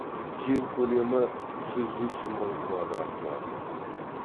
жер көлемі жүз үш мың квадрат километр